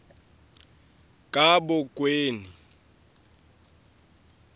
kabokweni